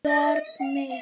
Barn mitt.